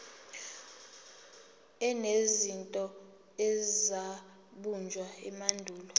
enezinto ezabunjwa emandulo